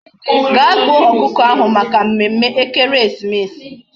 Ga gbuo okuko ahu Maka mmemme ekeresimesi